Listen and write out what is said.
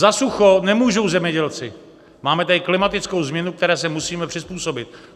Za sucho nemůžou zemědělci, máme tady klimatickou změnu, které se musíme přizpůsobit.